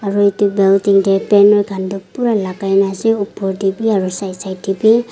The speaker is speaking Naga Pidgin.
aru itu building teh banner khan tu pura lagaina ase uper teh wii aru side side teh bi.